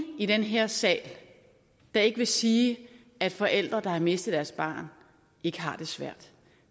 i den her sal der ikke vil sige at forældre der har mistet deres barn ikke har det svært